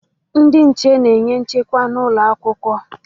Ndị nche na-enye nchekwa n'ụlọ akwụkwọ